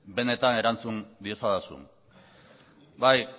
benetan erantzun diezadazun bai